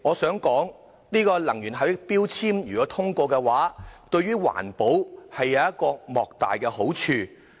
代理主席，能源標籤獲得通過對環保有莫大好處。